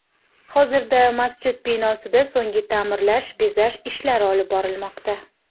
Hozirda masjid binosida so‘nggi ta’mirlash, bezash ishlari olib borilmoqda.